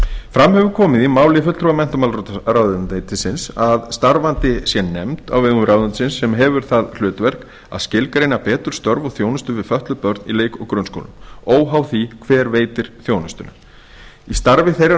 fram hefur komið í máli fulltrúa menntamálaráðuneytisins að starfandi sé nefnd á vegum ráðuneytisins sem hefur það hlutverk að skilgreina betur störf og þjónustu við fötluð börn í leik og grunnskólum óháð því hver veitir þjónustuna í starfi þeirrar